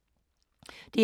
DR1